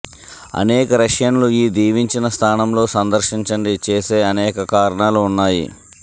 అనేక రష్యన్లు ఈ దీవించిన స్థానంలో సందర్శించండి చేసే అనేక కారణాలు ఉన్నాయి